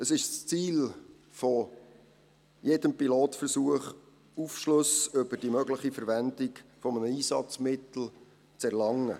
Es ist das Ziel jedes Pilotversuches, Aufschlüsse über die mögliche Verwendung eines Einsatzmittels zu erlangen.